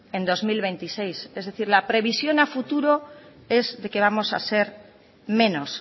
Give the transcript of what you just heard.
en dos mil veintiséis es decir la previsión a futuro es que vamos a ser menos